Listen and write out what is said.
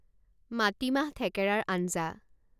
মাটিমাহ থেকেৰাৰ আঞ্জা